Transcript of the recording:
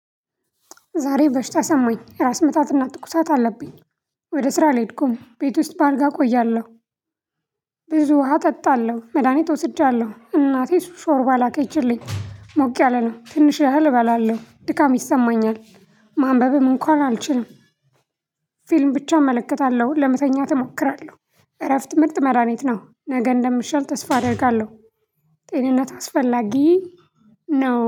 ዛሬ በሽታ ሰማኝ ራስ ምታትና ትኩሳት አለብኝ ወደ ስራ አልሄድኩም ቤት ውስጥ በአልጋ እቆያለሁ። ብዙ ውሃ ጠጣለሁ መድሃኒት ወስጃለሁ እናቴ ሾርባ ላከችልኝ ሞቅ ያለ ነው። ትንሽ ያህል እባላለሁ ድካም ይሰማኛል። ማንበብም እንኳን አልችልም። ፊልም ብቻ እመለከታለሁ ለመተኛት እሞክራለሁ እረፍት ምርጥ መዳኒት ነው። ነገ እንደምሻል ተስፋ አደርጋለሁ። ጤንነት አስፈላጊ ነው